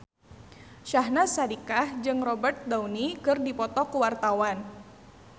Syahnaz Sadiqah jeung Robert Downey keur dipoto ku wartawan